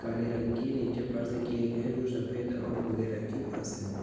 काले रंग की नीचे फर्श किए गए है जो सफ़ेद और भूरे रंग की फर्श है।